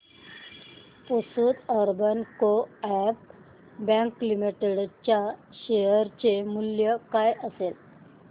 Pusad urban co-op bank limited च्या share चे मूल्य काय असेल